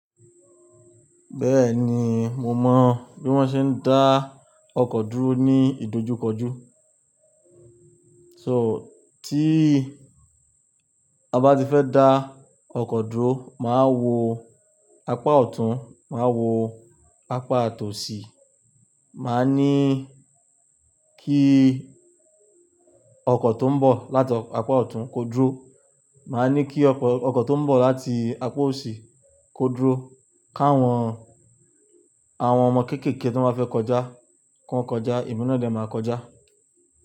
Bẹ́ẹ̀ni, mo mọ bí wọ́n ṣe ń dá ọkọ̀ dúró ní ìdojúkọjú. So tí a bá ti fẹ́ dá ọkọ̀ dúró, máa wo apá ọ̀tún, máa wo apá tòsí, màá ní kí ọkọ̀ tó ń bọ̀ láti apá ọ̀tún kó dúró, màá ní kí ọkọ̀ tó ń bọ̀ láti apá òsì kó dúró, káwọn, àwọn ọmọ kéékèèké tó n bá fẹ́ kọjá kan kọjá, emi ná dé máa kọjá.